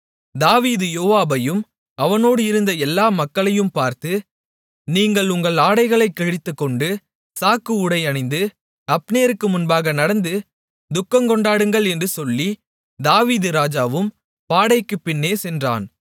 தாவீது யோவாபையும் அவனோடு இருந்த எல்லா மக்களையும் பார்த்து நீங்கள் உங்கள் ஆடைகளைக் கிழித்துக்கொண்டு சாக்கு உடை அணிந்து அப்னேருக்கு முன்னாக நடந்து துக்கங்கொண்டாடுங்கள் என்று சொல்லி தாவீது ராஜாவும் பாடைக்குப் பின்னே சென்றான்